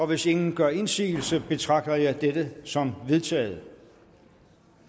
hvis ingen gør indsigelse betragter jeg dette som vedtaget